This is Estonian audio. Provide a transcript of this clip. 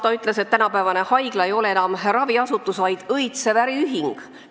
" Ta ütles, et tänapäevane haigla ei ole enam raviasutus, vaid õitsev äriühing.